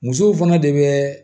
Musow fana de bɛ